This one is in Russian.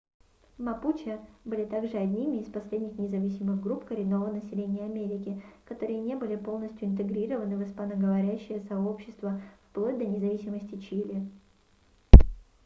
мапуче были также одними из последних независимых групп коренного населения америки которые не были полностью интегрированы в испаноговорящее сообщество вплоть до независимости чили